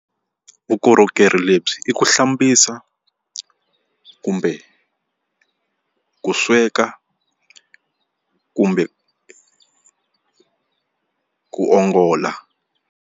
Vukorhokeri lebyi i ku hlambisa kumbe ku sweka kumbe ku ongola.